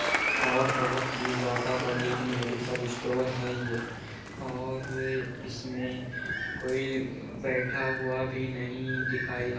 और बहुत ही ज्यादा बढ़ियां मेडिकल स्टोर है ये और इसमें कोई बैठा हुआ भी नहीं दिखाई दे --